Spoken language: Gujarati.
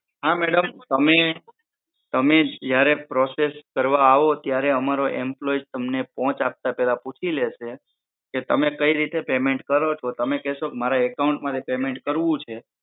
હા madam તમે જયારે process કરવા આવો ત્યારે અમારો employee તમને પૂછી લેશે કે તમે કઈ રીતે payment કરો છો તમે કેસો કે મારે account માંથી payment કરવું છે